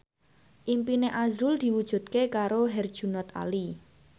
impine azrul diwujudke karo Herjunot Ali